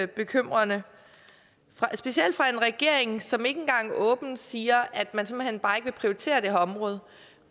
bekymrende specielt fra en regering som ikke engang åbent siger at man simpelt hen bare ikke vil prioritere det her område